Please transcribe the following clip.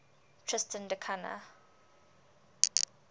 tristan da cunha